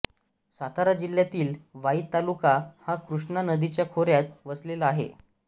सातारा जिल्ह्यातील वाई तालुका हा कृष्णा नदीच्या खोऱ्यात वसलेला आहे